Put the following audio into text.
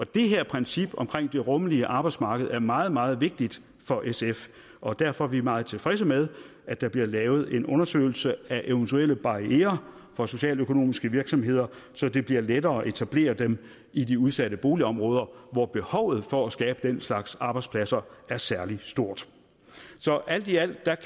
det her princip om det rummelige arbejdsmarked er meget meget vigtigt for sf og derfor er vi meget tilfredse med at der bliver lavet en undersøgelse af eventuelle barrierer for socialøkonomiske virksomheder så det bliver lettere at etablere dem i de udsatte boligområder hvor behovet for at skabe den slags arbejdspladser er særlig stort så alt i alt